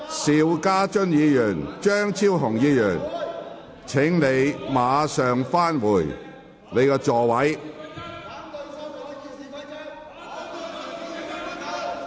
邵家臻議員，張超雄議員，請立即返回座位。